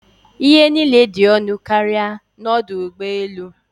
Ihe niile dị ọnụ karịa n'ọdụ ụgbọ elu.